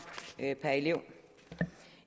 per elev